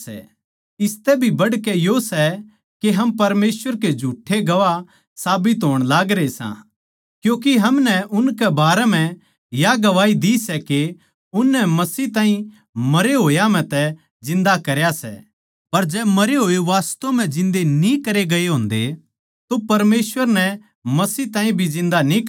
इसतै भी बढ़कै यो सै के हम परमेसवर के झूठ्ठे गवाह साबित होण लागरे सां क्यूँके हमनै उनके बारें म्ह या गवाही दी सै के उननै मसीह ताहीं मरे होया म्ह तै जिन्दा करया सै पर जै मरे होए वास्तव म्ह जिन्दे न्ही करे गये होन्दे तो परमेसवर नै मसीह ताहीं भी जिन्दा न्ही करया